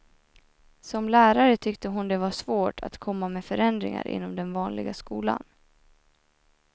Som lärare tyckte hon det var svårt att komma med förändringar inom den vanliga skolan.